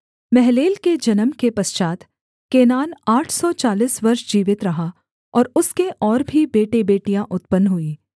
महललेल के जन्म के पश्चात् केनान आठ सौ चालीस वर्ष जीवित रहा और उसके और भी बेटेबेटियाँ उत्पन्न हुईं